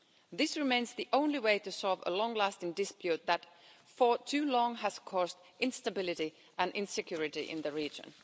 This remains the only way to solve a long lasting dispute that for too long has caused instability and insecurity in the region.